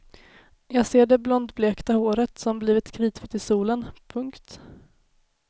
Jag ser det blondblekta håret som blivit kritvitt i solen. punkt